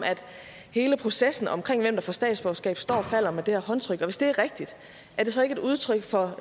hele processen omkring hvem der får statsborgerskab står og falder med det her håndtryk hvis det er rigtigt er det så ikke et udtryk for